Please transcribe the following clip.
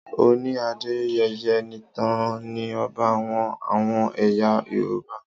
Ọọ̀ni Adeyeye Enitan III ni ọba àwọn àwọn ẹ̀yà Yorùbá.